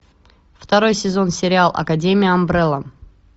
второй сезон сериал академия амбрелла